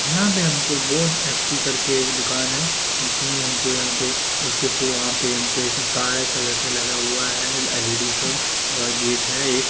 यहां पे हमको बोन ऐ_टी करके दुकान है जिसमें हमको यहां पे उसके फ़ो वहा पे हमको काले कलर का लगा हुआ है एल_इ_डी और गेट है एक --